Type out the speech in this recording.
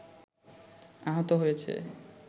আহত হয়েছে